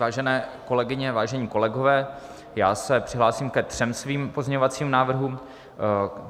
Vážené kolegyně, vážení kolegové, já se přihlásím ke třem svým pozměňovacím návrhům.